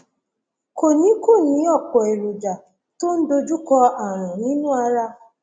kò ní kò ní ọpọ èròjà tó ń dojúkọ ààrùn nínú ara